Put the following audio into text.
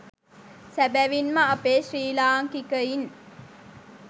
සැබැවින්ම අපේ ශ්‍රී ලාංකිකයින්